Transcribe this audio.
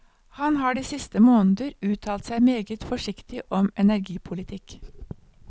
Han har de siste måneder uttalt seg meget forsiktig om energipolitikk.